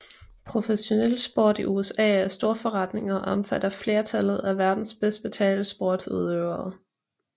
Professionel sport i USA er stor forretning og omfatter flertallet af verdens bedst betalte sportsudøvere